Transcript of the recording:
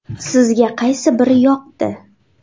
Sizga qaysi biri yoqdi?